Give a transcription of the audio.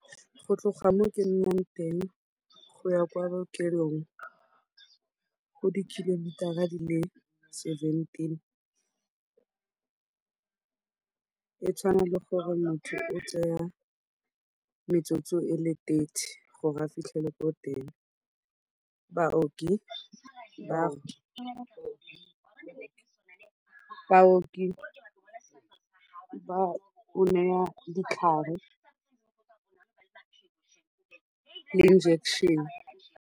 Go tloga mo ke nnang teng go ya kwa bookelong go di-kilometer-a di le seventeen, e tshwana le gore motho o tsaya metsotso e le thirty gore a fitlhelele ko teng. Baoki ba go naya ditlhare le injection.